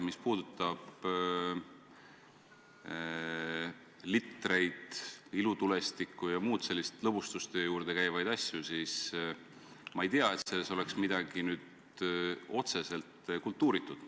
Mis puudutab litreid, ilutulestikku jm selliseid lõbustuste juurde käivaid asju, siis ma ei tea, et selles oleks midagi otseselt kultuuritut.